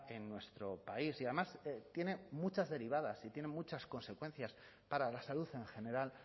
en nuestro país y además tiene muchas derivadas y tiene muchas consecuencias para la salud en general